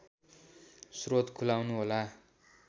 स्रोत खुलाउनुहोला